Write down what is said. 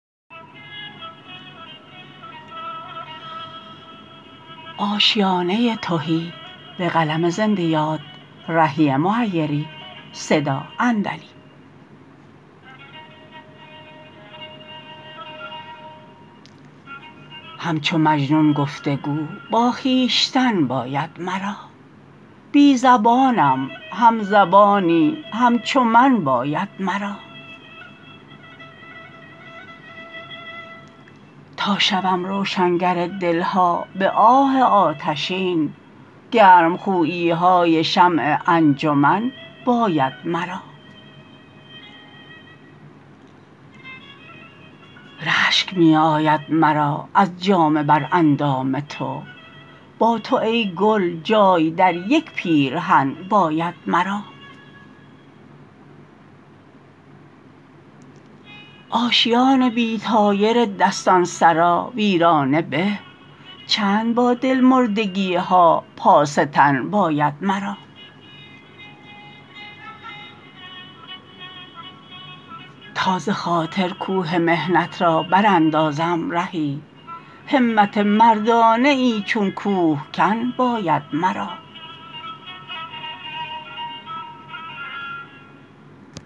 همچو مجنون گفتگو با خویشتن باید مرا بی زبانم هم زبانی همچو من باید مرا تا شوم روشنگر دل ها به آه آتشین گرم خویی های شمع انجمن باید مرا رشک می آید مرا از جامه بر اندام تو با تو ای گل جای در یک پیرهن باید مرا آشیان بی طایر دستانسرا ویرانه به چند با دل مردگی ها پاس تن باید مرا تا ز خاطر کوه محنت را براندازم رهی همت مردانه ای چون کوهکن باید مرا